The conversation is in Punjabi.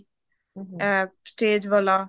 ਅਹ stage ਵਾਲਾ